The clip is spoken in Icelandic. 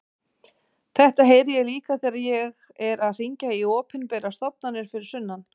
Þetta heyri ég líka þegar ég er að hringja í opinberar stofnanir fyrir sunnan.